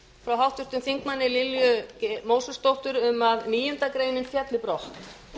frá háttvirtum þingmanni lilju mósesdóttur um að níundu grein félli brott